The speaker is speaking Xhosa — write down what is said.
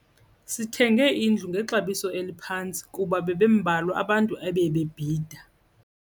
Sithenge indlu ngexabiso eliphantsi kuba bebembalwa abantu ebebebhida.